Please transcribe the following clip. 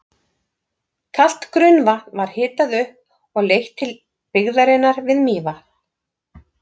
Kalt grunnvatn var hitað upp og leitt til byggðarinnar við Mývatn.